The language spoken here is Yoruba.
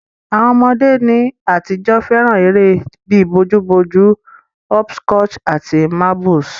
Àwon ọmọdé ní àtijọ́ fẹ́ràn eré bi bojú bojú, hopscotch àti marbles